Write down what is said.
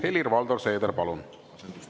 Helir-Valdor Seeder, palun!